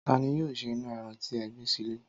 Ta ni yóò se inú e̩ran tí e̩ gbé sílè̩?